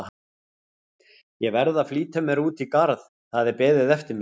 Ég verð að flýta mér út í garð, það er beðið eftir mér.